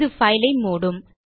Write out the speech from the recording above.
இது பைல் ஐ மூடும்